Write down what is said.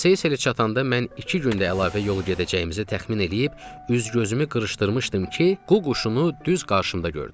Seyselə çatanda mən iki gündə əlavə yol gedəcəyimizi təxmin eləyib üz-gözümü qırışdırmışdım ki, ququşunu düz qarşımda gördüm.